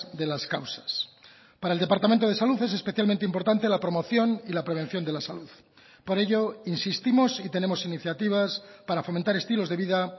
de las causas para el departamento de salud es especialmente importante la promoción y la prevención de la salud por ello insistimos y tenemos iniciativas para fomentar estilos de vida